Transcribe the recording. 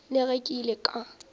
le ge ke ile ka